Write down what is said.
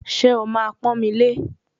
Ṣé o máa pọ́n mi lé